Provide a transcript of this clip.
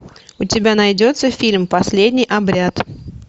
у тебя найдется фильм последний обряд